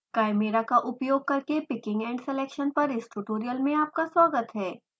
chimera का उपयोग करके picking and selection पर इस ट्यूटोरियल में आपका स्वागत है